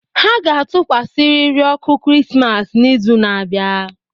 Ha ga-atụkwasịrịrị ọkụ Krismas n'izu na-abịa